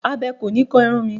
Abẹ kò ni kan irun mi.